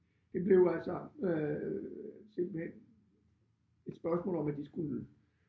Det blev altså øh simpelthen et spørgsmål om at de skulle